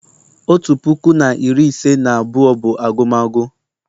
Otu puku na iri ise na abụọ bụ agumagu